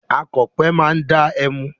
Akọ̀pẹ máa da ẹmu.